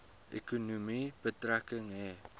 ekonomie betrekking hê